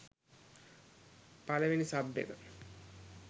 පළවෙනි සබ් එක